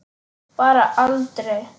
Bara aldrei.